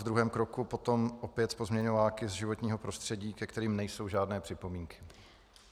V druhém kroku potom opět pozměňováky z životního prostředí, ke kterým nejsou žádné připomínky.